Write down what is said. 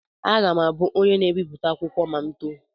Aga m abụ onye na-ebipụta akwụkwọ ma m too.